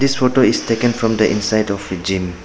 This photo is taken from the inside of a gym.